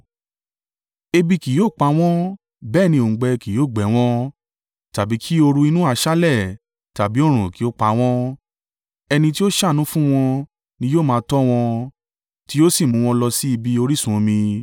Ebi kì yóò pa wọ́n bẹ́ẹ̀ ni òǹgbẹ kì yóò gbẹ wọ́n, tàbí kí ooru inú aṣálẹ̀ tàbí oòrùn kí ó pa wọ́n. Ẹni tí ó ṣàánú fún wọn ni yóò máa tọ́ wọn, tí yóò sì mú wọn lọ sí ibi orísun omi.